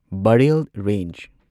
Barail range